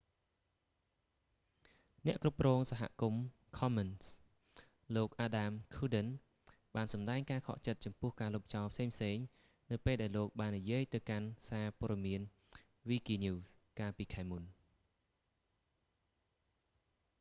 អ្នកគ្រប់គ្រងសហគមន៍ ខំមិនស៍ commons លោក អាដាម ឃួរដិន adam cuerden បានសម្តែងការខកចិត្តចំពោះការលុបចោលផ្សេងៗ នៅពេលដែលលោកបាននិយាយទៅកាន់សារព៍ត៌មានវីគីញូស wikinews កាលពីខែមុន